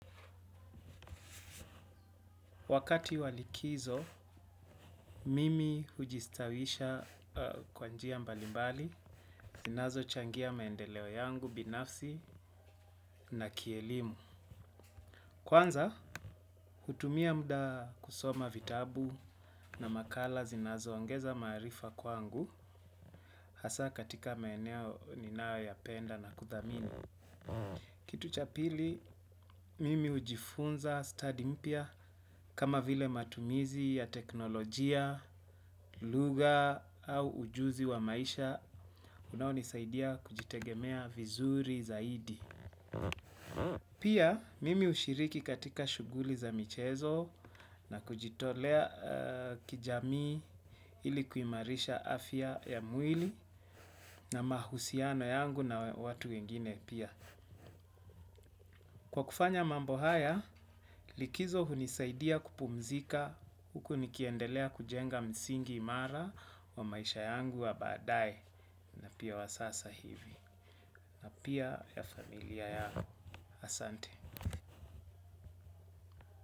Wakati wa likizo, mimi kujistawisha kwa njia mbalimbali, zinazo changia maendeleo yangu, binafsi na kielimu. Kwanza, hutumia muda kusoma vitabu na makala zinazo ongeza maarifa kwangu, hasa katika maeneo ninayoyapenda na kuthamini. Kitu cha pili mimi hujifunza study mpya kama vile matumizi ya teknolojia, lugha au ujuzi wa maisha unaonisaidia kujitegemea vizuri zaidi. Pia mimi hushiriki katika shughuli za michezo na kujitolea kijamii ili kuimarisha afya ya mwili na mahusiano yangu na watu wengine pia. Kwa kufanya mambo haya, likizo hunisaidia kupumzika huku nikiendelea kujenga msingi imara wa maisha yangu wa badae na pia wa sasa hivi. Pia ya familia yangu asante.